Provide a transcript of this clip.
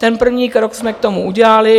Ten první krok jsme k tomu udělali.